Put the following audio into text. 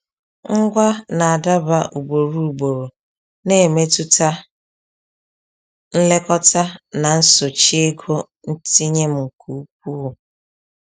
Ngwa na-adaba ugboro ugboro na-emetụta nlekọta na nsochi ego ntinye m nke ukwuu.